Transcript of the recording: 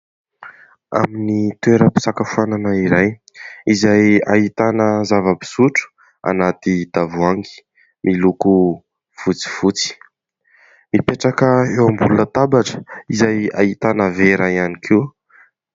Amin'ny toeram-pisakafoanana iray izay ahitana zava-pisotro anaty tavoahangy, miloko fotsifotsy mipetraka eo ambony latabatra izay ahitana vera ihany koa.